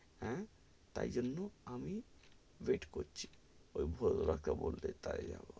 হ্যাঁ, তাই জন্য আমি wait করছি, ওই কে বললে তাই .